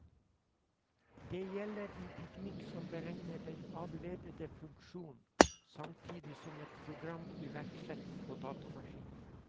Det gjelder en teknikk som beregner den avledede funksjon, samtidig som et program iverksettes på datamaskinen.